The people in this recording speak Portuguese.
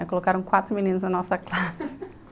Aí colocaram quatro meninos na nossa classe.